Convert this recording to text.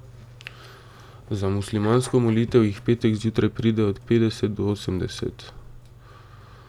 Za muslimansko molitev jih v petek zjutraj pride od petdeset do osemdeset.